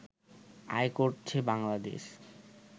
আয় করছে বাংলাদেশ